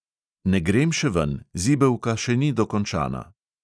Ne grem še ven, zibelka še ni dokončana.